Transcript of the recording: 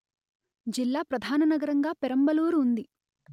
జిల్లా ప్రధాననగరంగా పెరంబలూరు ఉంది